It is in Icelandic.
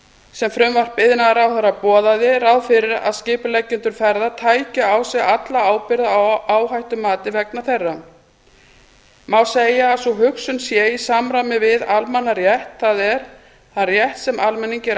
sem frumvarp iðnaðarráðherra boðaði ráð fyrir að skipuleggjendur ferða tækju á sig alla ábyrgð á áhættumati vegna þeirra má segja að sú hugsun sé í samræmi við almannarétt það er þann rétt sem almenningi er